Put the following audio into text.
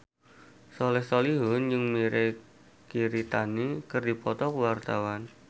Soleh Solihun jeung Mirei Kiritani keur dipoto ku wartawan